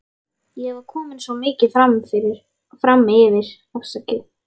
Ég var komin svo mikið framyfir.